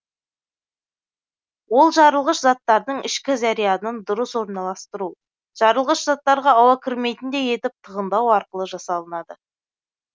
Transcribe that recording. ол жарылғыш заттардың ішкі зарядын дұрыс орналастыру жарылғыш заттарға ауа кірмейтіндей етіп тығындау арқылы жасалынады